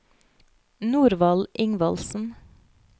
Norvald Ingvaldsen